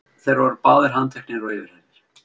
Þeir voru báðir handteknir og yfirheyrðir